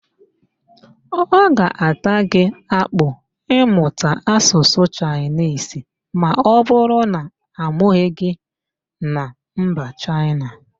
Ọ ga-ata gị akpụ ịmụta Asụsụ Chaịnisi ma ọbụrụ na amụghị gị na mba Chaịna